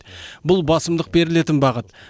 бұл басымдық берілетін бағыт